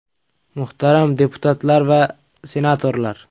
Muhtaram deputatlar va senatorlar!